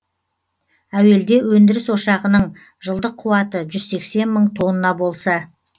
әуелде өндіріс ошағының жылдық қуаты жүз сексен мың тонна болса